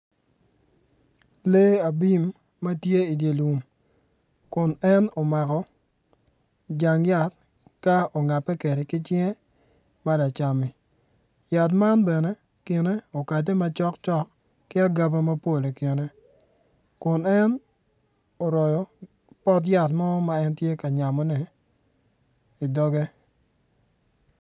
Lee abim matye idye lum kun en omako jang yat ka ongape kwede ki cinge ma lacammi yat man bene kine okate macok cok ki agaba mapol ikine kun en oroyo pot yat mo ma en tye ka royone idoge